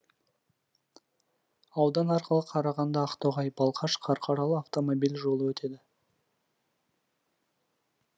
аудан арқылы қарағанды ақтоғай балқаш қарқаралы автомобиль жолы өтеді